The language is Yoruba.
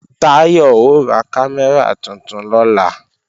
Táyọ̀ ó ra kámẹ́rà tuntun lọ́la